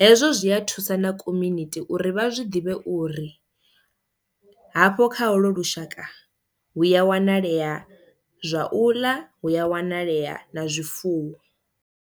hezwo zwia thusa na community uri vha zwi ḓivhe uri hafho kha holo lushaka hu ya wanalea zwa u ḽa hu ya wanalea na zwifuwo.